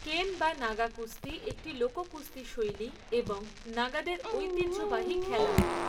কেন বা নাগা কুস্তি একটি লোক কুস্তি শৈলী এবং নাগাদের ঐতিহ্যবাহী খেলা।